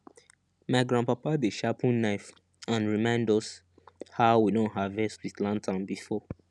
my grandpapa dey sharpen knife and remind us how we don harvest with lantern before